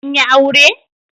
An yi aure?